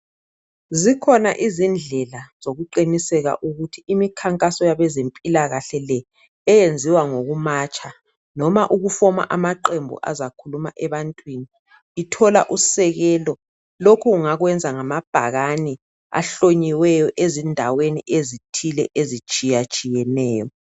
Zikhona izindlela zokuqiniseka ukuthi imikhankaso yebazempilakahle le eyenziwa ngokumatsha noma ukufoma amaqembu azakhuluma ebantwini ithola usekelo lokhu ungakwenza ngamabhakane ahlonyiweyo ezindaweni ezithile ezitshiyatshiyeneyo.